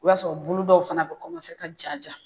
O y'a sɔrɔ bulu dɔw fana ka ja ja